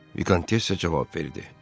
Vikontessa cavab verdi: